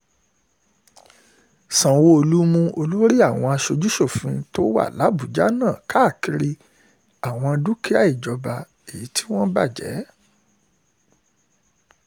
sanwó-olu mú um olórí àwọn aṣojú-ṣòfin tó wà làbájá náà káàkiri àwọn um dúkìá ìjọba tí wọ́n bàjẹ́